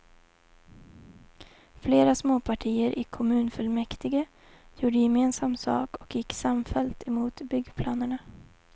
Flera småpartier i kommunfullmäktige gjorde gemensam sak och gick samfällt emot byggplanerna.